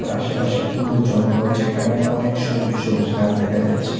আশেপাশে পুরো জঙ্গল যেখানে অনেক সবুজ সবুজ গাছ দেখা যাচ্ছে।